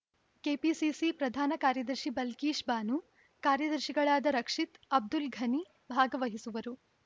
KPCC ಪ್ರಧಾನ ಕಾರ್ಯದರ್ಶಿ ಬಲ್ಕೀಶ್‌ ಬಾನು ಕಾರ್ಯದರ್ಶಿಗಳಾದ ರಕ್ಷಿತ್‌ ಅಬ್ದುಲ್‌ ಘನಿ ಭಾಗವಹಿಸುವರು